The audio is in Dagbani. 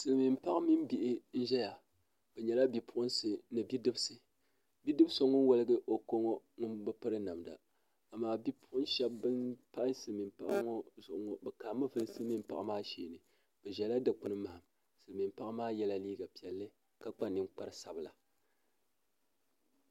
Silimiinpaɣa mini bihi n-ʒeya bɛ nyɛla bipuɣinsi ni bidibisi bidib' so ŋun wɔligi o ko ŋɔ ŋun bi piri namda amaa bipuɣin' shɛba ban pahi silimiinpaɣa ŋɔ zuɣu ŋɔ bɛ kaami vuli silimiinpaɣa maa sheeni bɛ ʒɛla dikpini mahim silimiinpaɣa maa yɛla liiga piɛlli ka kpa ninkpar' sabila